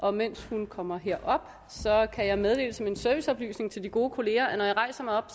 og mens hun kommer herop kan jeg meddele som en serviceoplysning til de gode kolleger at når jeg rejser mig op